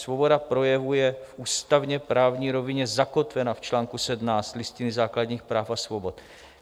Svoboda projevu je v ústavně právní rovině zakotvena v čl. 17 Listiny základních práv a svobod.